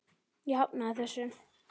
Ég hafnaði þessu.